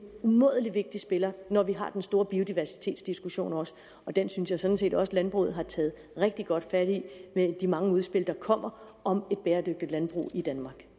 umådelig vigtig spiller når vi har den store biodiversitetsdiskussion også og den synes jeg sådan set også landbruget har taget rigtig godt fat i med de mange udspil der kommer om et bæredygtigt landbrug i danmark